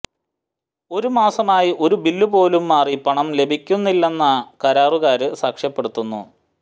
ഒരു മാസമായി ഒരു ബില്ലു പോലും മാറി പണം ലഭിക്കുന്നില്ലെന്ന് കരാറുകാര് സാക്ഷ്യപ്പെടുത്തുന്നു